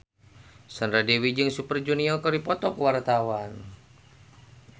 Sandra Dewi jeung Super Junior keur dipoto ku wartawan